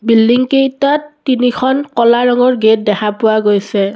Building কেইটাত তিনিখন ক'লা ৰঙৰ গেট দেখা পোৱা গৈছে।